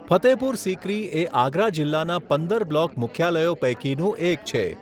ફતેહપુર સિક્રી એ આગરા જિલ્લાના પંદર બ્લોક મુખ્યાલયો પૈકીનું એક છે.